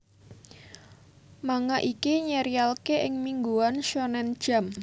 Manga iki nyerialke ing mingguan shonen jump